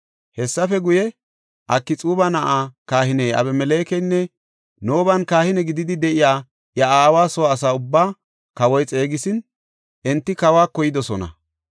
Hessafe guye, Akxuuba na7aa kahiniya Abimelekenne Nooban kahine gididi de7iya iya aawa soo asa ubbaa kawoy xeegisin, enti kawako yidosona.